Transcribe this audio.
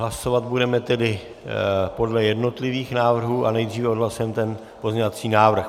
Hlasovat budeme tedy podle jednotlivých návrhů, ale nejdříve odhlasujeme ten pozměňovací návrh.